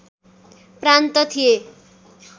प्रान्त थिए